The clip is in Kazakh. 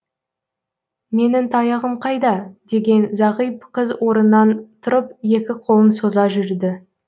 менің таяғым қайда деген зағип қыз орынан тұрып екі қолын соза жүрді